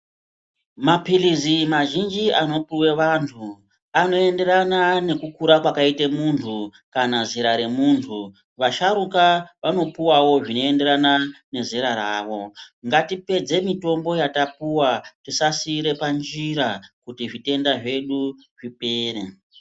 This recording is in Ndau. Mapilizi mazhinji anopuwe vantu anoyenderana nekukura kwakaita muntu kana zera remuntu. Vasharukwa vanopuwawo zvinoenderana nezera ravo. Ngatipedze mitombo yatapuwa tisasiira panjira kuti zvitenda zvedu zvipere.